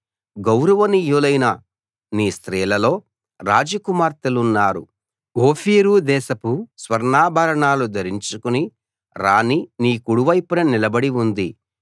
గౌరవనీయులైన నీ స్త్రీలలో రాజ కుమార్తెలున్నారు ఓఫీరు దేశపు స్వర్ణాభరణాలు ధరించుకుని రాణి నీ కుడి వైపున నిలబడి ఉంది